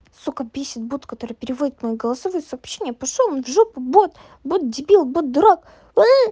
сука бесит бот который переводит голосовые сообщения пошёл в жопу вот вот дебил бот дурак